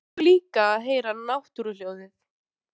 Mig langar líka að heyra náttúruhljóð.